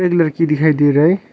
एक लड़की दिखाई दे रही है।